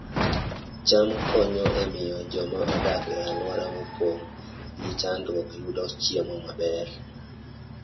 cham konyo e miyo joma odak e alwora mopong' gi chandruok oyud chiemo maber